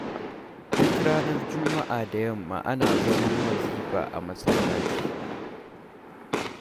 Duk ranar juma'a da yamma ana zaman wazifa a masallaci.